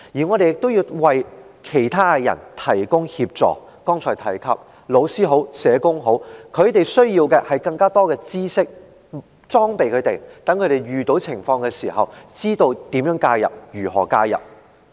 我們亦要為其他人提供協助，例如剛才提及的老師或社工，他們需要更多知識來裝備自己，讓他們遇到有關情況時，知道要如何介入。